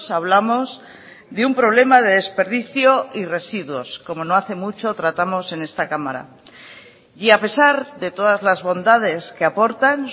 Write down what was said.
hablamos de un problema de desperdicio y residuos como no hace mucho tratamos en esta cámara y a pesar de todas las bondades que aportan